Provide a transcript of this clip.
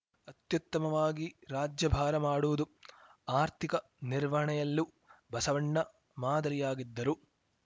ಅತ್ಯುತ್ತಮವಾಗಿ ರಾಜ್ಯಭಾರ ಮಾಡುವುದು ಆರ್ಥಿಕ ನಿರ್ವಹಣೆಯಲ್ಲೂ ಬಸವಣ್ಣ ಮಾದರಿಯಾಗಿದ್ದರು